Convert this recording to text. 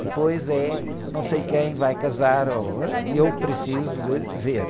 Depois é, não sei quem vai casar, ou, ãh, eu preciso de ver.